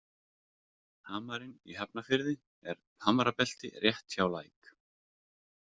Hamarinn í Hafnarfirði er hamrabelti rétt hjá læk.